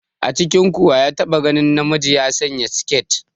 A cikinku wa ya taɓa ganin namiji ya sanya siketi?